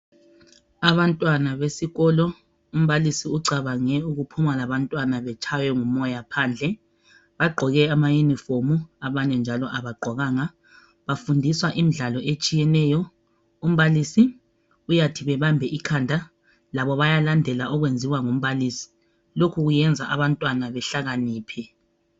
Abantwana besikolo, umbalisi ucabange ukuphuma labantwana betshaywe ngumoya phandle. Bagqoke amayunifomu abanye njalo abagqokanga. Bafundiswa imidlalo etshiyeneyo. Umbalisi uyathi bebambe ikhanda, labo bayalandela okwenziwa ngumbalisi. Lokhu kwenza abantwana behlakaniphe.